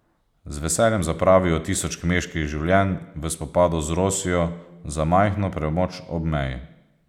Z veseljem zapravijo tisoč kmečkih življenj v spopadu z Rosijo za majhno premoč ob meji.